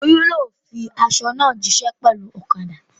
Olú yóò fin aṣọ náà jíṣẹ́ pẹ̀lú ọ̀kadà.